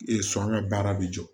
sɔn ka baara bɛ jɔ